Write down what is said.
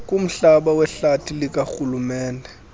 kumhlaba wehlathi likarhulumente